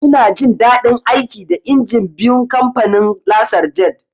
Ina jin daɗin aiki da injin biyun kamfanin "Lasar jet"